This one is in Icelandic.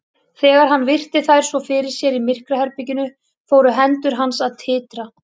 Þegar hann virti þær svo fyrir sér í myrkraherberginu fóru hendur hans að titra.